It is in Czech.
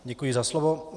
Děkuji za slovo.